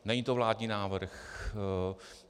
Není to vládní návrh.